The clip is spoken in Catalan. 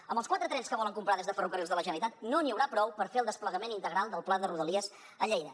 amb els quatre trens que volen comprar des de ferrocarrils de la generalitat no n’hi haurà prou per fer el desplegament integral del pla de rodalies a lleida